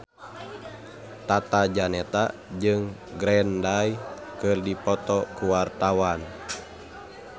Tata Janeta jeung Green Day keur dipoto ku wartawan